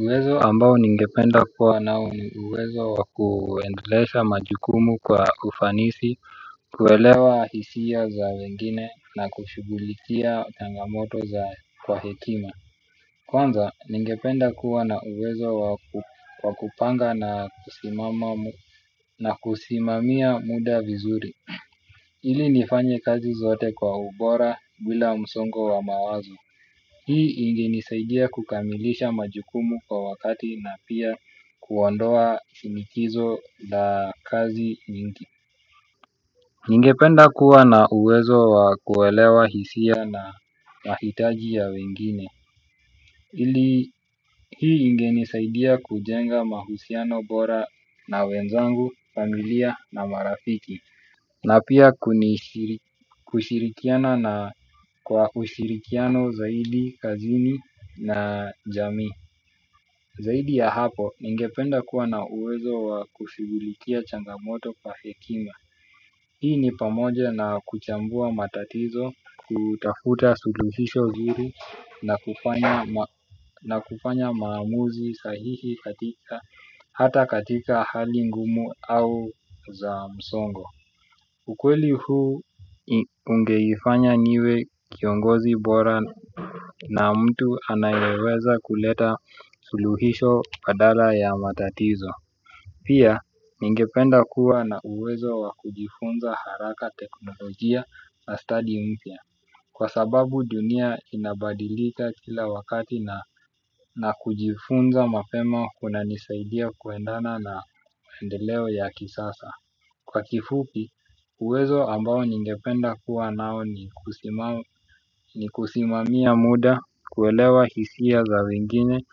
Uwezo ambao ningependa kuwa nao ni uwezo wa kuendelesha majukumu kwa ufanisi. Kuelewa hisia za wengine na kushughulikia changamoto za kwa hekima. Kwanza ningependa kuwa na uwezo wa kupanga na kusimamia muda vizuri. Ili nifanye kazi zote kwa ubora bila msongo wa mawazo. Hii ingenisaidia kukamilisha majukumu kwa wakati na pia kuondoa shinikizo za kazi nyingi. Ningependa kuwa na uwezo wa kuelewa hisia na mahitaji ya wengine. Hii ingenisaidia kujenga mahusiano bora na wenzangu, familia na marafiki. Na pia kushirikiana na kwa ushirikiano zaidi, kazini na jamii. Zaidi ya hapo, ningependa kuwa na uwezo wa kushughulikia changamoto pa hekima. Hii ni pamoja na kuchambua matatizo, kutafuta suluhisho zuri na kufanya maamuzi sahihi katika hata katika hali ngumu au za msongo. Ukweli huu ungeifanya niwe kiongozi bora na mtu anayeweza kuleta suluhisho badala ya matatizo. Pia ningependa kuwa na uwezo wa kujifunza haraka teknolojia na study mpya. Kwa sababu dunia inabadilika kila wakati na na kujifunza mapema kunanisaidia kuendana na mendeleo ya kisasa. Kwa kifupi, uwezo ambao ningependa kuwa nao ni kusimamia muda, kuelewa hisia za wengine,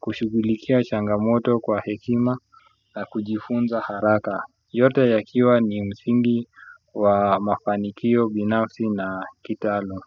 kushughulikia changamoto kwa hekima, na kujifunza haraka. Yote yakiwa ni msingi wa mafanikio binafsi na kitaalum.